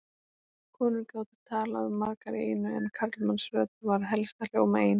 Konur gátu talað margar í einu en karlmannsrödd varð helst að hljóma ein.